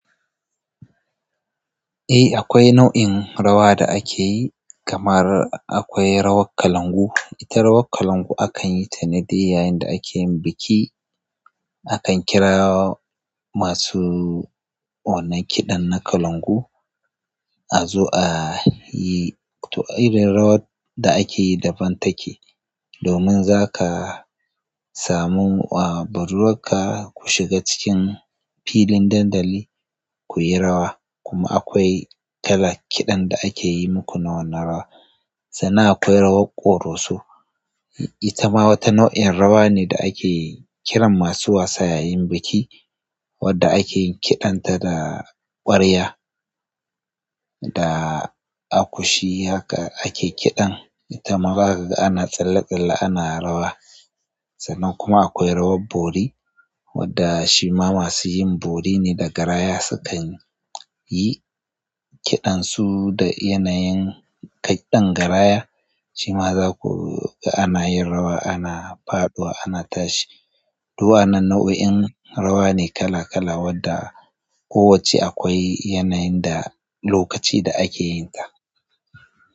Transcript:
Eh akwai nau'in rawa da akeyi kamar akwai rawar kalangu. Ita rawar kalangu akan yi ta ne dai yayin da akeyin biki. Akan kira masu wannan kiɗan na kalangu a zo a yi. To irin rawar da akeyi daban take. Domin zaka samu budurwar ka ku shiga cikin filin dandali kuyi rawa kuma akwai kiɗan da ake yi muku na wannan rawar sannan akwai rawar ƙoroso. Ita ma wata nau'in rawa ne da akeyi kiran masu wasa yayin biki wanda akeyi kiɗan ta da ƙwarya da akushi haka ake kiɗan. Ita ma zaka ga ana tsalle-tsalle ana rawa. Sannan kuma akwai rawar bori wadda shima masu yin bori ne da garaya sukan yi kiɗan su da yanayin kiɗan garaya. Shima zaku ga ana yin rawa ana faɗuwa ana tashi. To waannan nau'o'in rawa ne kala-kala wadda kowacce akwai yanayin da lokaci da ake yin ta.